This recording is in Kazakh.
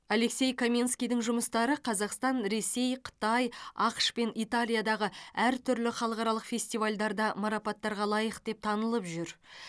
алексей каменскийдің жұмыстары қазақстан ресей қытай ақш пен италиядағы әртүрлі халықаралық фестивальдарда марапаттарға лайық деп танылып жүр